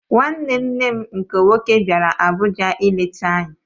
Nwanne nne m nke nwoke bịara Abuja ileta anyị.